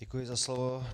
Děkuji za slovo.